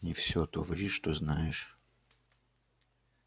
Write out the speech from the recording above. не всё то ври что знаешь